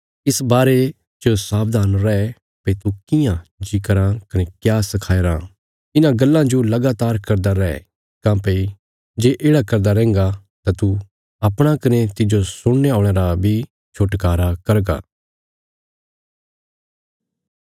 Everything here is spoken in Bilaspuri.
इस बारे च सावधान रै भई तू कियां जीं कराँ कने क्या सखाया राँ इन्हां गल्लां जो लगातार करदा रै काँह्भई जे येढ़ा करदा रैंहगा तां तू अपणा कने तिज्जो सुणने औल़यां रा बी छुटकारा करगा